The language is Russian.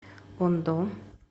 ондо